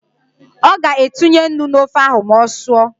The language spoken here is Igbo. Ọ ga-etinye nnu n’ofe ahụ ma ọ sụọ